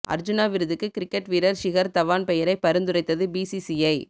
அர்ஜுனா விருதுக்கு கிரிக்கெட் வீரர் ஷிகர் தவான் பெயரை பரிந்துரைத்தது பிசிசிஐ